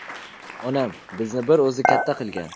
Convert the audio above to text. Onam bizni bir o‘zi katta qilgan.